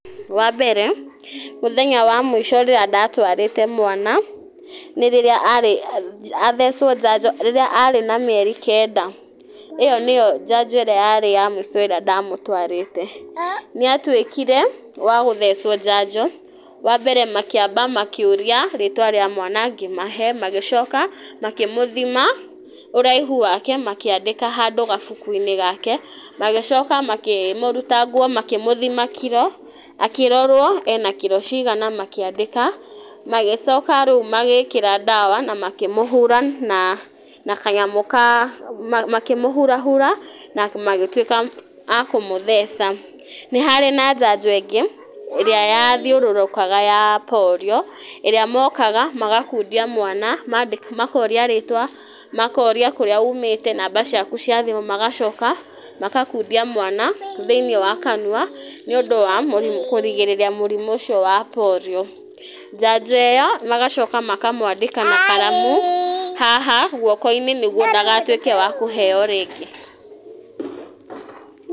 Wa mbere, mũthenya wa mũico rĩrĩa ndatwarĩte mwana, nĩ rĩrĩa arĩ athecwo njanjo rĩrĩa arĩ na mĩeri kenda. Ĩyo nĩyo njanjo ĩrĩa yarĩ ya mũico ĩrĩa ndamũtũarĩte. Nĩ atuĩkire, wa gũthecwo njanjo. Wa mbere makĩamba makĩũria rĩitwa rĩa mwana, ngĩmahe. Magĩcoka, makĩmũthima, ũraihu wake, makĩandĩka handũ gabuku-inĩ gake. Magĩcoka makĩmũruta nguo, makĩmũthima kiro, akĩrorwo ena kiro cigana makĩandĩka. Magĩcoka rĩu magĩkĩra ndawa, na makĩmũhura, na na kanyamũ ka makĩmũhurahura, na magĩtuĩka a kũmũtheca. Nĩ harĩ na njanjo ĩngĩ, ĩrĩa yathiũrũrũkaga ya polio. Ĩrĩa mokaga, magakundia mwana, makoria rĩĩtwa, makoria kũrĩa umĩte, namba ciaku cia thimũ, magacoka, makakundia mwana, thĩiniĩ wa kanua, nĩ ũndũ wa mũrimũ kũrigĩrĩria mũrimũ ũcio wa polio. Njanjo ĩyo, magacoka makamũandĩka na karamu, haha, guoko-inĩ nĩguo ndagatuĩke wa kũheeo rĩngĩ.